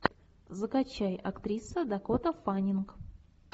закачай актриса дакота фаннинг